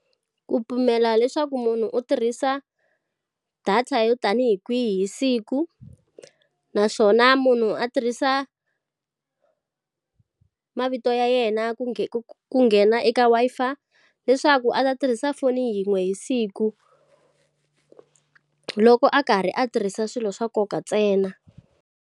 Ku pimela leswaku munhu u tirhisa data yo tanihi kwihi siku. Naswona munhu a tirhisa mavito to ya yena ku ku nghena eka Wi-Fi, leswaku a ta tirhisa foni yin'we hi siku loko a karhi a tirhisa swilo swa nkoka ntsena.